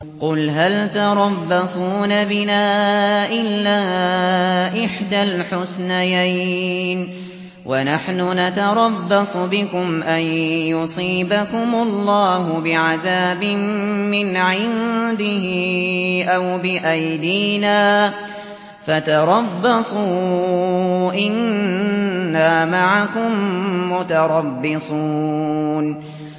قُلْ هَلْ تَرَبَّصُونَ بِنَا إِلَّا إِحْدَى الْحُسْنَيَيْنِ ۖ وَنَحْنُ نَتَرَبَّصُ بِكُمْ أَن يُصِيبَكُمُ اللَّهُ بِعَذَابٍ مِّنْ عِندِهِ أَوْ بِأَيْدِينَا ۖ فَتَرَبَّصُوا إِنَّا مَعَكُم مُّتَرَبِّصُونَ